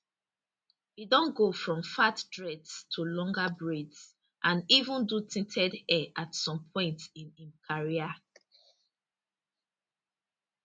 e don go from fat dreads to longer braids and even do tinted hair at some point in im career